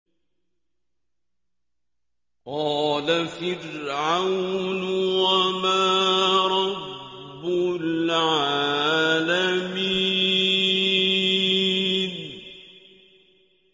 قَالَ فِرْعَوْنُ وَمَا رَبُّ الْعَالَمِينَ